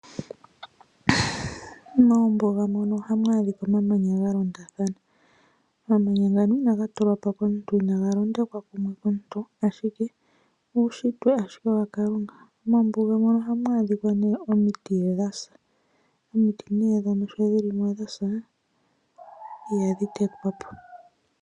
Moombuga mono ohamu adhika omamanya galondatha. Omamanya ngano inaga tulwapo komuntu, inaga londekwa kumwe komuntu ashike uushitwe ashike waKalunga. Moombuga mono ohamu adhika nee omiti dhasa. Omiti nee ndhono sho dhilio dhasa ihadhi tetwapo.